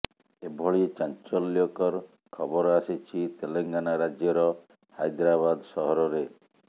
ଏଭଳି ଚାଞ୍ଚଲ୍ୟକର ଖବର ଆସିଛି ତେଲେଙ୍ଗାନା ରାଜ୍ୟର ହାଇଦ୍ରାବାଦ୍ ସହରରେ